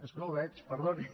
és que no el veig perdoni